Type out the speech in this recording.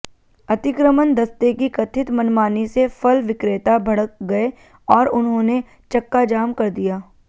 अतिक्रमण दस्ते की कथित मनमानी से फल विक्रेता भड़क गए और उन्होंने चक्काजाम कर दिया